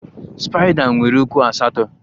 Spaida nwere ụkwụ asatọ